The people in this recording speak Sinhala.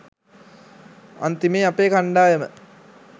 අන්තිමේ අපේ කණ්ඩායම